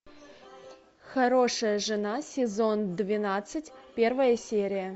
хорошая жена сезон двенадцать первая серия